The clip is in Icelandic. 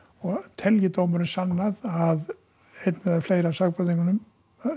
telji dómurinn sannað að einn eða fleiri af sakborningunum